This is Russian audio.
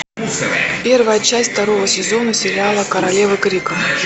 первая часть второго сезона сериала королевы крика